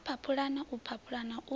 a phaphulana o phaphulana u